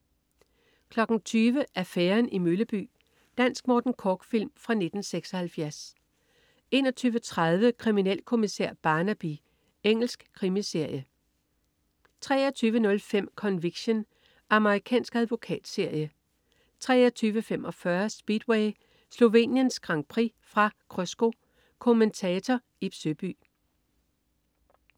20.00 Affæren i Mølleby Dansk Morten Korch-film fra 1976 21.30 Kriminalkommissær Barnaby. Engelsk krimiserie 23.05 Conviction. Amerikansk advokatserie 23.45 Speedway: Sloveniens Grand Prix. Fra Krsko. Kommentator: Ib Søby